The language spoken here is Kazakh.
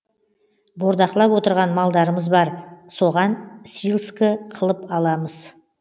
бордақылап отырған малдарымыз бар соған силскі қылып аламыз